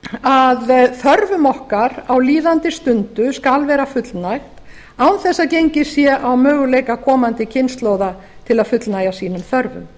að þörfum okkar á líðandi stundu skal vera fullnægt án þess að gengið sé á möguleika komandi komandi kynslóða til að fullnægja sínum þörfum